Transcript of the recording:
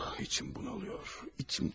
İçim bunalır, içim daralır.